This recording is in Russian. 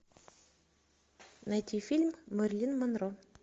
найти фильм мэрилин монро